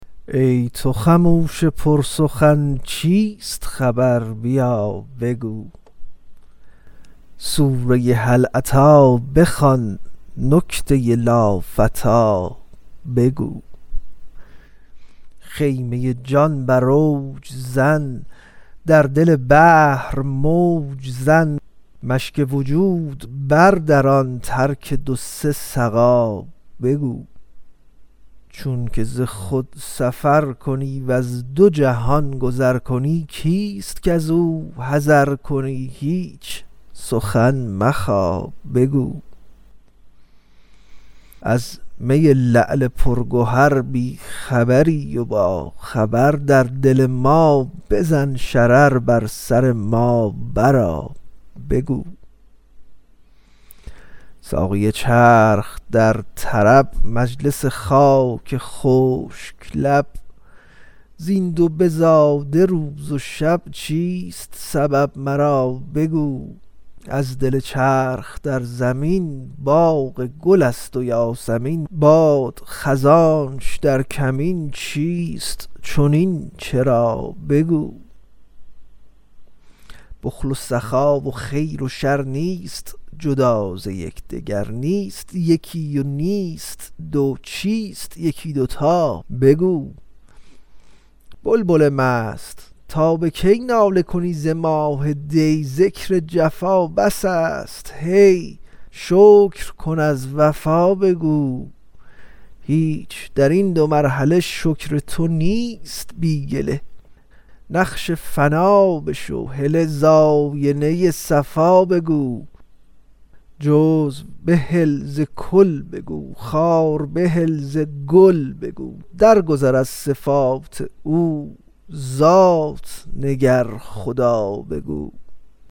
ای تو خموش پرسخن چیست خبر بیا بگو سوره هل اتی بخوان نکته لافتی بگو خیمه جان بر اوج زن در دل بحر موج زن مشک وجود بردران ترک دو سه سقا بگو چونک ز خود سفر کنی وز دو جهان گذر کنی کیست کز او حذر کنی هیچ سخن مخا بگو از می لعل پرگهر بی خبری و باخبر در دل ما بزن شرر بر سر ما برآ بگو ساقی چرخ در طرب مجلس خاک خشک لب زین دو بزاده روز و شب چیست سبب مرا بگو از دل چرخ در زمین باغ و گل است و یاسمین باد خزانش در کمین چیست چنین چرا بگو بخل و سخا و خیر و شر نیست جدا ز یک دگر نیست یکی و نیست دو چیست یکی دو تا بگو بلبل مست تا به کی ناله کنی ز ماه دی ذکر جفا بس است هی شکر کن از وفا بگو هیچ در این دو مرحله شکر تو نیست بی گله نقش فنا بشو هله ز آینه صفا بگو جزو بهل ز کل بگو خار بهل ز گل بگو درگذر از صفات او ذات نگر خدا بگو